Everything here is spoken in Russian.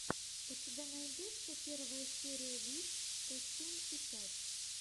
у тебя найдется первая серия виш сто семь и пять